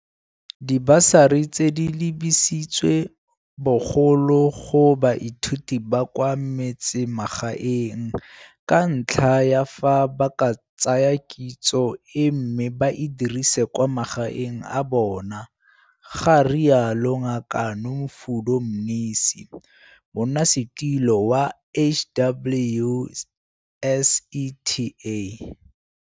Dibasari tse di lebisitswe bogolo go baithuti ba kwa metsemagaeng ka ntlha ya fa ba ka tsaya kitso e mme ba e dirise kwa magaeng a bona, ga rialo Ngaka Nomfundo Mnisi, Monnasetilo wa HWSETA.